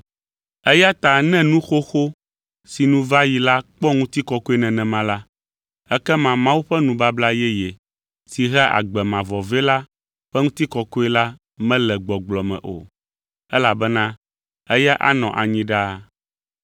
Eya ta ne nu xoxo si nu va yi la kpɔ ŋutikɔkɔe nenema la, ekema Mawu ƒe nubabla yeye si hea agbe mavɔ vɛ la ƒe ŋutikɔkɔe la mele gbɔgblɔ me o, elabena eya anɔ anyi ɖaa.